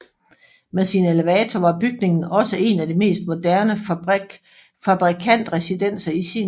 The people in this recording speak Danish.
Med sin elevator var bygningen også en af de mest moderne fabrikantresidenser i sin tid